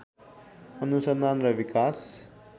अनुसन्धान र विकास